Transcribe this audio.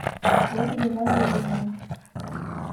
ольга валерьевна